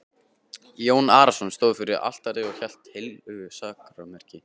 Jón Arason stóð fyrir altari og hélt á heilögu sakramenti.